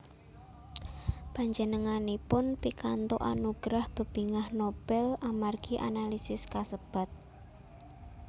Panjenenganipun pikantuk anugerah Bebingah Nobel amargi analisis kasebat